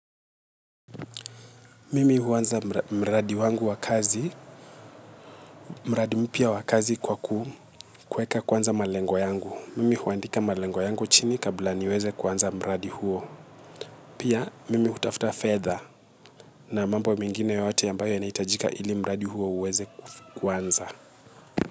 Mimi huanza mradi wangu wa kazi, mradi mpya wa kazi kwa ku kuweka kwanza malengo yangu. Mimi huandika malengo yangu chini kabla niweze kuanza mradi huo. Pia mimi hutafuta fedha na mambo mengine yoyote ambayo yanahitajika ili mradi huo uweze kuanza.